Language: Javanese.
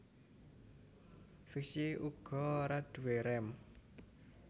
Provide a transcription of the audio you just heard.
Fixie uga ora duwé rem